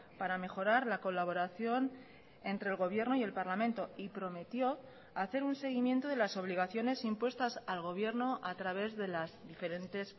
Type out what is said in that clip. para mejorar la colaboración entre el gobierno y el parlamento y prometió hacer un seguimiento de las obligaciones impuestas al gobierno a través de las diferentes